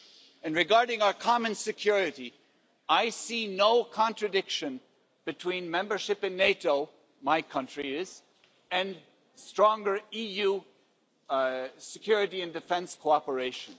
And regarding our common security, I see no contradiction between membership in NATO my country is and stronger EU security and defence cooperation.